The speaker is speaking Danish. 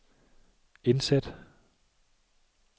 indsæt